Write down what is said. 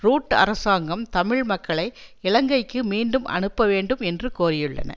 root அரசாங்கம் தமிழ் மக்களை இலங்கைக்கு மீண்டும் அனுப்ப வேண்டும் என்று கோரியுள்ளன